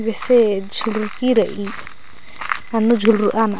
बेसे झुलूरुकी रइई अन्नूर झूलरआ नर।